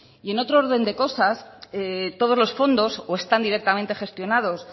y en otro orden del cosas todos los fondos o están directamente gestionados